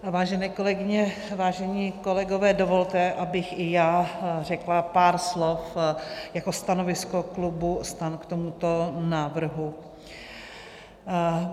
Vážené kolegyně, vážení kolegové, dovolte, abych i já řekla pár slov jako stanovisko klubu STAN k tomuto návrhu.